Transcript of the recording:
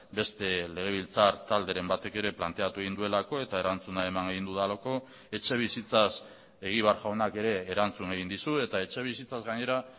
beste legebiltzar talderen batek ere planteatu egin duelako eta erantzuna eman egin dudalako etxebizitzaz egibar jaunak ere erantzun egin dizu eta etxebizitzaz gainera